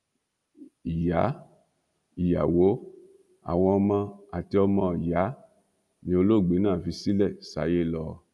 ìyá ìyàwó àwọn ọmọ àti ọmọọyà ni olóògbé náà fi ṣílẹ sáyé lọ